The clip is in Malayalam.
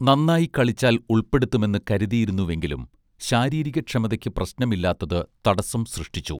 നന്നായി കളിച്ചാൽ ഉൾപ്പെടുത്തുമെന്നു കരുതിയിരുന്നുവെങ്കിലും ശാരീരിക ക്ഷമതയ്ക്കു പ്രശ്നമില്ലാത്തത് തടസം സൃഷ്ടിച്ചു